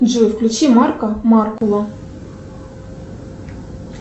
джой включи марка маркула